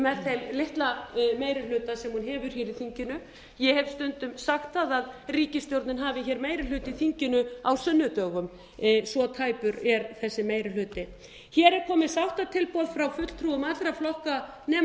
þeim litla meiri hluta sem hún hefur hér í þinginu ég hef stundum sagt að ríkisstjórnin hafi hér meiri hluta í þinginu á sunnudögum svo tæpur er þessi meiri hluti hér er komið sáttatilboð frá fulltrúum allra flokka nema